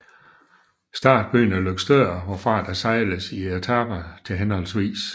Startbyen er Løgstør hvorfra der sejles i etaper til hhv